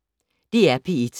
DR P1